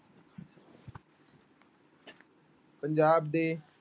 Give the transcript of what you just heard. ਪੰਜਾਬ ਦੇ